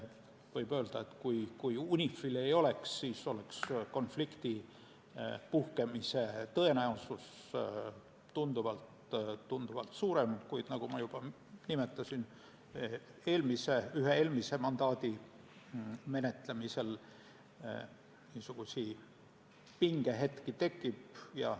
Võib öelda, et kui UNIFIL-i ei oleks, siis oleks konflikti puhkemise tõenäosus tunduvalt suurem, kuid, nagu ma juba nimetasin ühe eelmise mandaadi menetlemisel, pingehetki tekib.